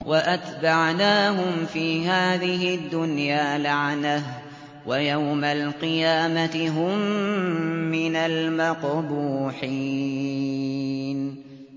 وَأَتْبَعْنَاهُمْ فِي هَٰذِهِ الدُّنْيَا لَعْنَةً ۖ وَيَوْمَ الْقِيَامَةِ هُم مِّنَ الْمَقْبُوحِينَ